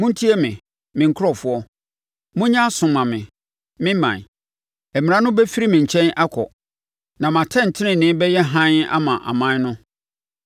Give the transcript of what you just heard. “Montie me, me nkurɔfoɔ; monyɛ aso mma me, me ɔman: Mmara no bɛfiri me nkyɛn akɔ; na mʼatɛntenenee bɛyɛ hann ama aman no.